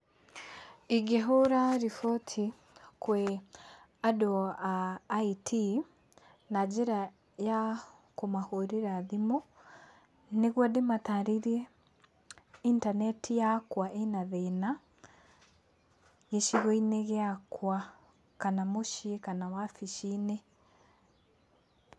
ĩngĩhũra riboti kwĩ andũ a IT , na njĩra ya kũmahũrĩra thimũ, nĩguo ndĩmatarĩrie intaneti yakwa ĩ na thĩna gĩcigo-inĩ gĩakwa, kana mũciĩ, kana wabici-inĩ.